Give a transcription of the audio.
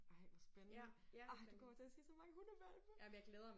Ej hvor spændende. Ej du kommer til at se så mange hundehvalpe